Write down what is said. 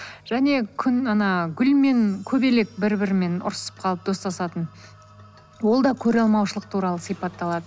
және күн ана гүл мен көбелек бір бірімен ұрсып қалып достасатын ол да көреалмаушылық туралы сипатталады